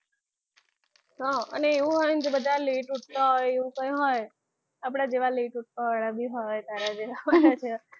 અને એવું હોય ને તો બધા late ઉઠતા હોય એવું કંઈ હોય આપણા જેવા late ઉઠવા વાળા બી હોય તારા જેવા તારા જેવા બી હો